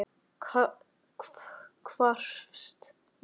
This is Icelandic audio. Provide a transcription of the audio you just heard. Hvarfst mér frá.